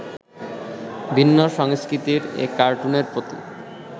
ভিন্ন সংস্কৃতির এ কার্টুনের প্রতি